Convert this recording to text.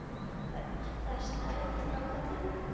Hödd: Það er stæll á kallinum?